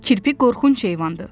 Kirpi qorxunc heyvandır,